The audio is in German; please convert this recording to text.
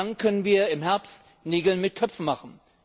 Dann können wir im Herbst Nägel mit Köpfen machen.